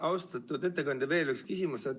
Austatud ettekandja, veel üks küsimus.